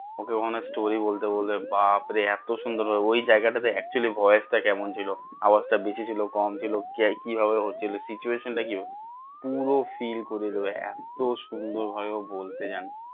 ওকে কখনো story বলতে বলবে বাপরে এত সুন্দর ভাবে ওই যায়গাটাতে actually voice টা কেমন ছিল আওয়াজ টা বেশি ছিল কম ছিল কি ভাবে হচ্ছিলো situation কি পুরো feel করে দিবে এত সুন্দর ভাবে ও বলতে জানে